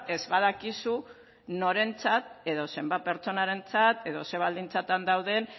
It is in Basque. ez badakizu norentzat edo zenbat pertsonarentzat edo ze baldintzatan dauden